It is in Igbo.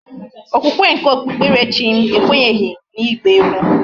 okwukwe nke okpukperechim ekwenyeghi na igba egwu